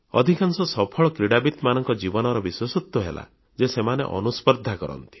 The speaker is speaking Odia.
ଅଧିକାଂଶ ସଫଳ କ୍ରୀଡ଼ାବିତମାନଙ୍କ ଜୀବନର ବିଶେଷତ୍ୱ ହେଲା ଯେ ସେମାନେ ଅନୁସ୍ପର୍ଦ୍ଧା କରନ୍ତି